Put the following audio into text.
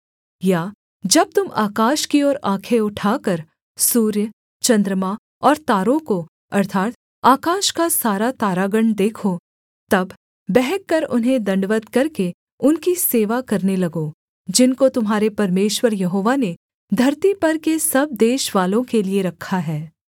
या जब तुम आकाश की ओर आँखें उठाकर सूर्य चन्द्रमा और तारों को अर्थात् आकाश का सारा तारागण देखो तब बहक कर उन्हें दण्डवत् करके उनकी सेवा करने लगो जिनको तुम्हारे परमेश्वर यहोवा ने धरती पर के सब देशवालों के लिये रखा है